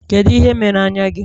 Kedu ihe mere anya gị?